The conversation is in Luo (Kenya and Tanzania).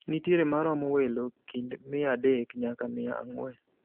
Nitiere maromo welo kind mia adek nyaka mia ang'wen.